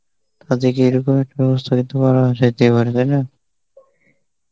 তাদেরকে এরকম একটা ব্যবস্থা যাইতে পারে, তাই না?